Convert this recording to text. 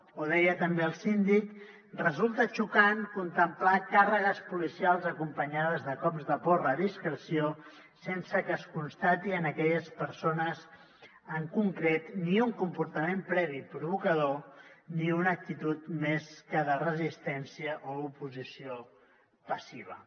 o deia també el síndic resulta xocant contemplar càrregues policials acompanyades de cops de porra a discreció sense que es constati en aquelles persones en concret ni un comportament previ provocador ni una actitud més que de resistència o oposició passiva